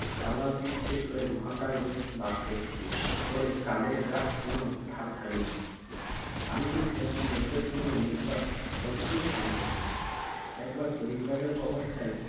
কালাতীত কে ধরে মহাকাল বাস করছি বলে কালের কাজ কোনো ধার ধারিনি আমি যে সেরকম লোকের সঙ্গে মেশবার অদ্ভুত ক্ষমতা ছিল একবার পরিপাটি অবস্থায়